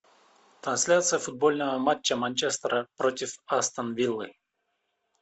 трансляция футбольного матча манчестера против астон виллы